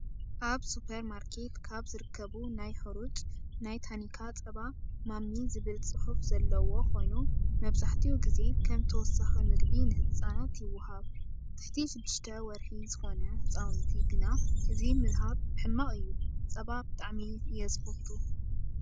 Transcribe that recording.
ኣብ ስፖርማርኬት ካብ ዝርከቡ ናይ ሑሩጭ ናይ ታኒካ ፀባ ማሚ ዝብል ፅሑፍ ዘለዎ ኮይኑ መብዛሕቲኡ ግዜ ከም ተወሳኪ ምግቢ ንህፃናት ይወሃብ። ትሕቲ 6ተ ወርሒ ዝኮነ ህፃውቲ ግና እዚ ምሃብ ሕማቅ እዩ። ፀባ ብጣዕሚ እየ ዝፈቱ።